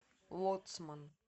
лоцман